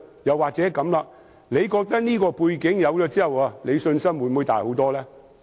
又或者局長會否覺得，有了這項背景，信心會大很多呢？